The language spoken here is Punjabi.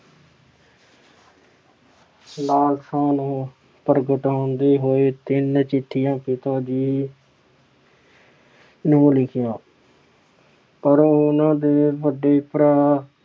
ਲਾਲਸਾ ਨੂੰ ਪ੍ਰਗਟਾਉਂਦੇ ਹੋਏ ਤਿੰਨ ਚਿੱਠੀਆਂ ਪਿਤਾ ਜੀ ਨੂੰ ਲਿਖੀਆਂ। ਪਰ ਉਹਨਾਂ ਦੇ ਵੱਡੇ ਭਰਾ